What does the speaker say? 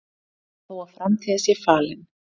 Þó að framtíð sé falin,